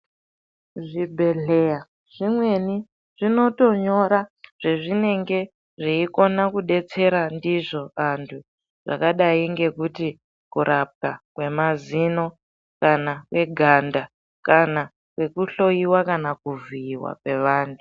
Zvibhedhlera zvimweni zvinotonyora zvezvinenge zveikona kudetsera ndizvo antu zvakadai ngekuti kurapwa kwemazino kana kweganda kana kwekuhloyiwa kana kuvhiyiwa kwevantu.